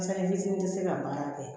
Sanni fitiinin tɛ se ka baara kɛ